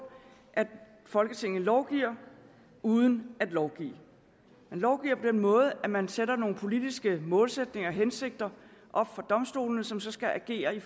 at folketinget lovgiver uden at lovgive man lovgiver på den måde at man sætter nogle politiske målsætninger og hensigter op for domstolene som så skal agere i